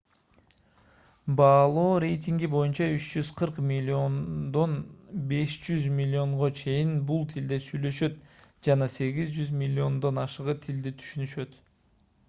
баалоо рейтинги боюнча 340 миллиодон 500 миллионго чейин бул тилде сүйлөшөт жана 800 миллиондон ашыгы тилди түшүнүшөт